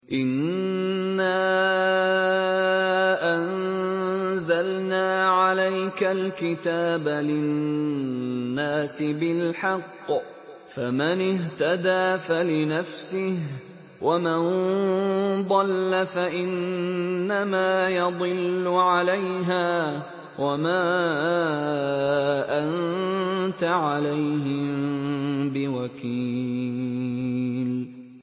إِنَّا أَنزَلْنَا عَلَيْكَ الْكِتَابَ لِلنَّاسِ بِالْحَقِّ ۖ فَمَنِ اهْتَدَىٰ فَلِنَفْسِهِ ۖ وَمَن ضَلَّ فَإِنَّمَا يَضِلُّ عَلَيْهَا ۖ وَمَا أَنتَ عَلَيْهِم بِوَكِيلٍ